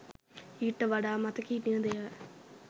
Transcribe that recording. ඊට වඩා මතක හිටින දේවල්